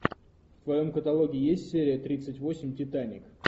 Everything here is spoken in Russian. в твоем каталоге есть серия тридцать восемь титаник